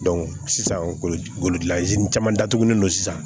sisan golozini caman datugulen don sisan